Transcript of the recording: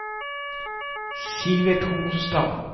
Sivert Holstad